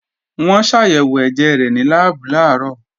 Wọ́n ṣàyẹ̀wò ẹ̀jẹ̀ rẹ̀ ní láàbù làárọ̀